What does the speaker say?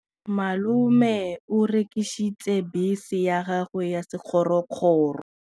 Malome o rekisitse bese ya gagwe ya sekgorokgoro.